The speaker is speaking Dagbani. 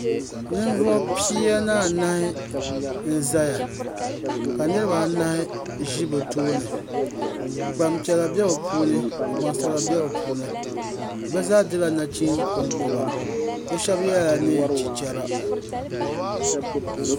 Ninvuɣi pia ni anahi n zaya ka niriba anahi zi bi tooni gbaŋ piɛla bɛ bi puuni ka gbaŋ sabila bɛ bi puuni bi zaa dila nachinsi konkɔba bi shɛba yela nɛɛn chichɛra.